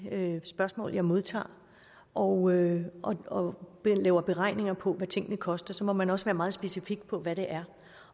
spørgsmål jeg modtager og og laver beregninger på hvad tingene koster så må man også være meget specifik på hvad det er